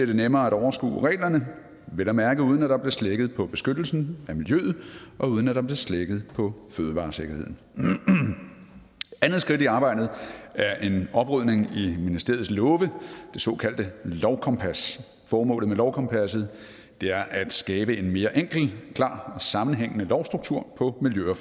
det nemmere at overskue reglerne vel at mærke uden at der bliver slækket på beskyttelsen af miljøet og uden at der bliver slækket på fødevaresikkerheden andet skridt i arbejdet er en oprydning i ministeriets love det såkaldte lovkompas formålet med lovkompasset er at skabe en mere enkel klar og sammenhængende lovstruktur på miljø og